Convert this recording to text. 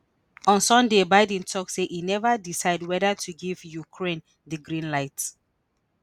on sunday biden tok say e neva decide weda to give ukraine di green light.